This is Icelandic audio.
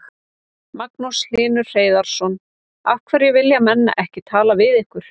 Magnús Hlynur Hreiðarsson: Af hverju vilja menn ekki tala við ykkur?